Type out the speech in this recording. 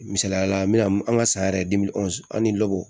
Misaliyala an bɛna an ka san yɛrɛ an ni